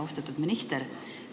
Austatud minister!